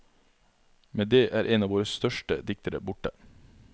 Med det er en av våre største diktere borte.